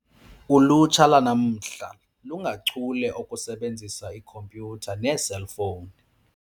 Ulutsha lwanamhla lungachule okusebenzisa ikhompyutha neeselfowuni.